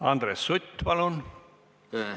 Andres Sutt, palun!